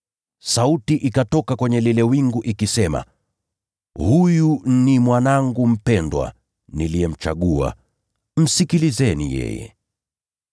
Sauti ikatoka kwenye lile wingu ikisema, “Huyu ni Mwanangu mpendwa, niliyemchagua. Msikieni yeye.”